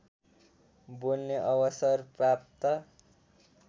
बोल्ने अवसर प्राप्त